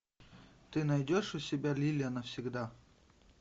ты найдешь у себя лиля навсегда